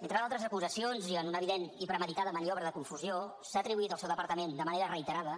entre d’altres acusacions i en una evident i premeditada maniobra de confusió s’ha atribuït al seu departament de manera reiterada